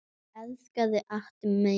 Ég elska þig ástin mín.